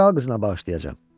Kral qızına bağışlayacağam.